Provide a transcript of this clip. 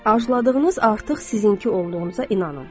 Arzuladığınız artıq sizinki olduğuna inanın.